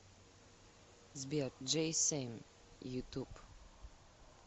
сбер джейсэн ютуб